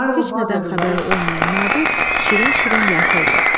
Heç nədən xəbəri olmayan Nadir şirin-şirin yatırdı.